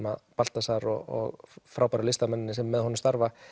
að Baltasar og frábæru listamenn sem með honum starfa